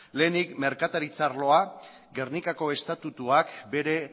lehenik merkataritza arloa gernikako estatutuak bere